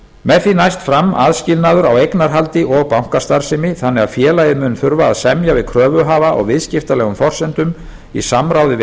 með því næst fram aðskilnaður á eignarhaldi og bankastarfsemi þannig að félagið mun þurfa að semja við kröfuhafa á viðskiptalegum forsendum í samráði við